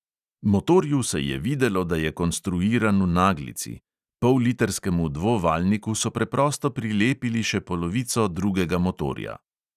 Motorju se je videlo, da je konstruiran v naglici: pollitrskemu dvovaljniku so preprosto prilepili še polovico drugega motorja.